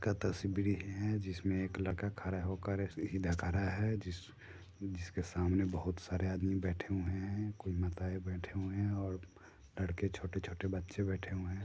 का तस्वीर है जिसमें एक लड़का खड़ा होकर जिस जिसके सामने बहुत सारे आदमी बैठे हुए हैं कोई माताए बैठे हुए हैं और लड़के छोटे-छोटे बच्चे बैठे हुए हैं।